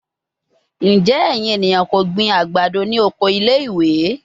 Njẹ ẹyin eniyan ko gbin agbado ni oko ile-iwe?